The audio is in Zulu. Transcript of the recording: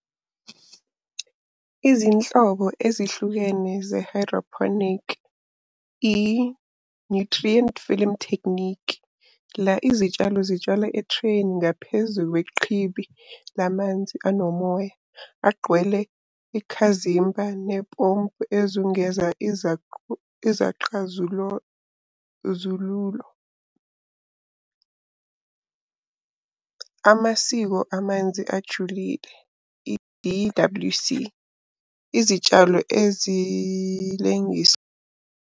Izinhlobo ezihlukene ze-hydroponic. I-Nutrient Film Technique, la izitshalo zitshalwa ethreyini ngaphezu kweqhibi lamanzi anomoya, agqwele ikhazimba . Amasiko amanzi ajulile, i-D_W_C. Izitshalo .